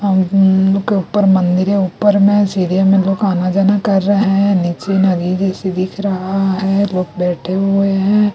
हमम लोग के ऊपर मंदिर है ऊपर में सीधे में लोग आना जाना कर रहे है नीचे में नदी जैसी दिख रहा है लोग बैठे हुए है।